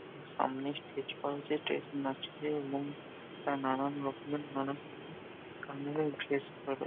সামনে স্টেজ করা হচ্ছে স্টেজ নাচবে এবং তার নানান রকমের নানান কালার -এর ড্রেস পরা।